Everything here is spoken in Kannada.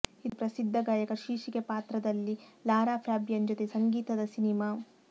ಇದು ಪ್ರಸಿದ್ಧ ಗಾಯಕ ಶೀರ್ಷಿಕೆ ಪಾತ್ರದಲ್ಲಿ ಲಾರಾ ಫ್ಯಾಬಿಯನ್ ಜೊತೆ ಸಂಗೀತದ ಸಿನಿಮಾ